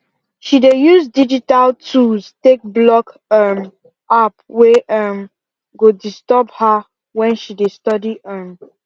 she dey use digital tools take block um app wey um go disturb her wen she dey study um